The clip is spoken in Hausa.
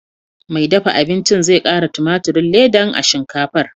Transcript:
Mai dafa abincin zai ƙara tumaturin ledan a shinkafar.